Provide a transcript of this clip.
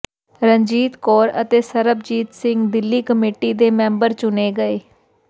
ਰਣਜੀਤ ਕੌਰ ਅਤੇ ਸਰਬਜੀਤ ਸਿੰਘ ਦਿੱਲੀ ਕਮੇਟੀ ਦੇ ਮੈਂਬਰ ਚੁਣੇ ਗਏ